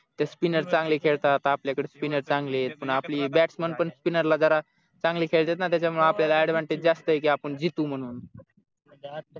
ते spinner चांगले खेळतात आपल्याकडे spinner चांगलेत पण आपले batsman पण spinner ला जरा चांगले खेळतात ना त्याच्यामुळे आपल्याला advantage जास्त आहे की आपण जितू म्हणून